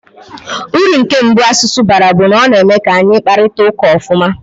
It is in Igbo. Uru nke mbụ asụsụ bara bụ na ọ na-eme ka anyị kparịta ụka ofuma.